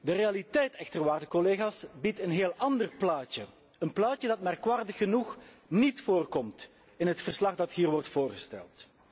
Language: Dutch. De realiteit echter, waarde collega's, biedt een heel ander plaatje, een plaatje dat merkwaardig genoeg niet voorkomt in het verslag dat hier wordt behandeld.